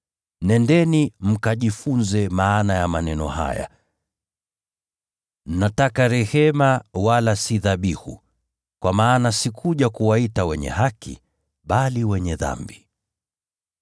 Nendeni mkajifunze maana ya maneno haya: ‘Nataka rehema, wala si dhabihu.’ Kwa maana sikuja kuwaita wenye haki, bali wenye dhambi.”